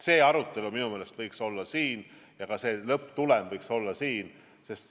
See arutelu minu meelest võiks olla siin ja lõpptulem võiks olla kinnitatud siin.